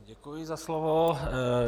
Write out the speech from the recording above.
Děkuji za slovo.